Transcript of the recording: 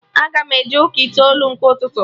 Aga m eje ụka itoolu nke ụtụtụ